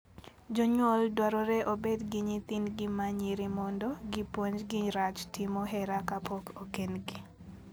Jonyuol dwarore obed gi nyithindgi ma nyiri mondo gipuonjgi rach timo hera kapok okendgi.